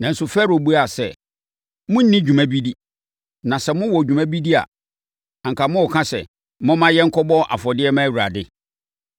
Nanso, Farao buaa sɛ, “Monni dwuma bi di, na sɛ mowɔ dwuma bi di a, anka morenka sɛ, ‘Momma yɛnkɔbɔ afɔdeɛ mma Awurade.’